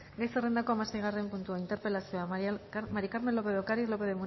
gai zerrendako hamaseigarren puntua interpelazioa maría del carmen lópez de ocariz lópez